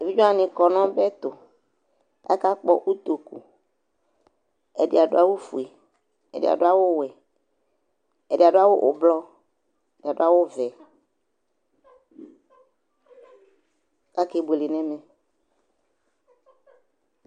evidze wʋani kɔ n'ɔbɛ tu, aka kpɔ utoku, ɛdi adu awu fue, ɛdi adu awu wɛ, ɛdi adu awu ublɔ, ɛdi adu awu vɛ kake buele n'ɛmɛ